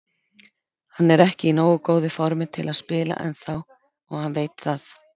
Hann er ekki í nógu góðu formi til að spila ennþá og hann veit það.